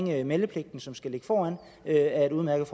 med meldepligten som skal ligge foran er et udmærket